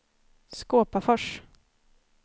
Skåpafors